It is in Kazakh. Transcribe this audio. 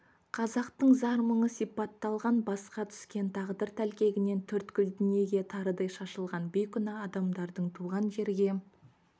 қазақтың зар-мұңы сипатталған басқа түскен тағдыр тәлкегінен төрткүл дүниеге тарыдай шашылған бейкүнә адамдардың туған жерге